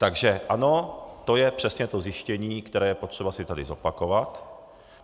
Takže ano, to je přesně to zjištění, které je potřeba si tu zopakovat.